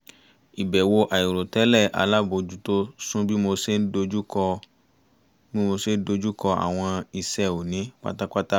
ìbẹ̀wò àìrò tẹ́lẹ̀ alábòójútó sún bí mo ṣe dojùkọ àwọn iṣẹ́ òní pátápátá